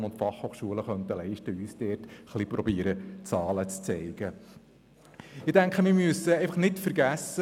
Sie könnten versuchen, uns Zahlen dazu zu liefern.